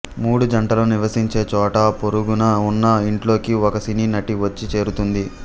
మూడు జంటలు నివసించే చోట పొరుగున ఉన్న ఇంట్లోకి ఒక సినీ నటి వచ్చి చేరుతుంది